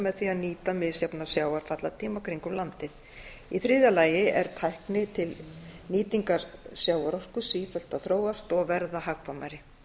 með því að nýta misjafnan sjávarfallatíma kringum landið í þriðja lagi er tækni til nýtingar sjávarorku sífellt að þróast og verða hagkvæmari